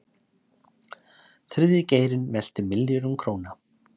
Þriðji geirinn veltir milljörðum króna